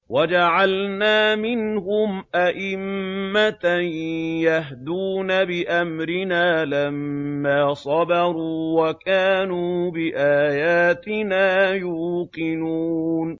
وَجَعَلْنَا مِنْهُمْ أَئِمَّةً يَهْدُونَ بِأَمْرِنَا لَمَّا صَبَرُوا ۖ وَكَانُوا بِآيَاتِنَا يُوقِنُونَ